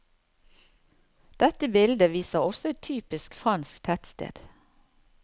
Dette bildet viser også et typisk fransk tettsted.